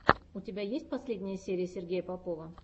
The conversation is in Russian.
у тебя есть последняя серия сергея попова